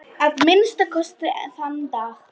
Að minnsta kosti þann dag.